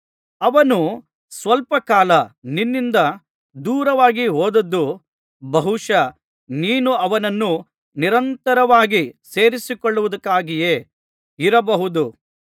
ಅವನು ಸ್ವಲ್ಪಕಾಲ ನಿನ್ನಿಂದ ದೂರವಾಗಿಹೋದದ್ದು ಬಹುಶಃ ನೀನು ಅವನನ್ನು ನಿರಂತರವಾಗಿ ಸೇರಿಸಿಕೊಳ್ಳುವುದಕ್ಕಾಗಿಯೇ ಇರಬಹುದು